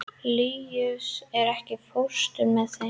Líus, ekki fórstu með þeim?